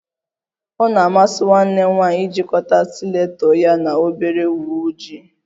O na-amasi nwanne m nwanyị ijikọta stileto ya na obere uwe ojii